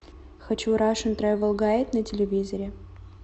хочу рашен тревел гайд на телевизоре